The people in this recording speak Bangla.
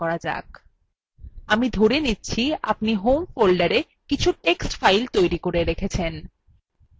আমি ধরে নিচ্ছি আপনি home folder কিছু text files তৈরী করে রেখেছেন